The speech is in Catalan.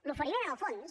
l’oferiment en el fons